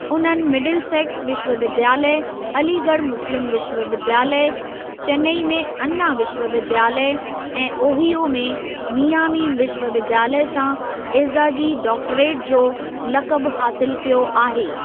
उन्हनि मिडिलसेक्स विश्वविद्यालय, अलीगढ़ मुस्लिम विश्वविद्यालय, चेन्नई में अन्ना विश्वविद्यालय ऐं ओहियो में मियामी विश्वविद्यालय सां एज़ाज़ी डॉक्टरेट जो लक़बु हासिलु कयो आहे।